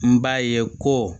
N b'a ye ko